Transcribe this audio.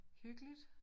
Hyggeligt